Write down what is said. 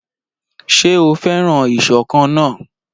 Ṣé o fẹ́ràn ìṣọ̀kan náà?